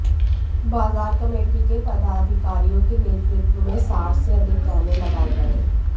बाजार कमेटी के पदाधिकारियों के नेतृत्व में साठ से अधिक कैमरे लगाए गए